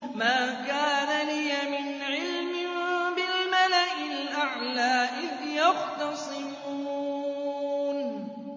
مَا كَانَ لِيَ مِنْ عِلْمٍ بِالْمَلَإِ الْأَعْلَىٰ إِذْ يَخْتَصِمُونَ